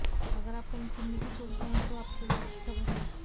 अगर आप कहीं घूमने की सोच रहे हैं तो आपके लिए अच्छी खबर है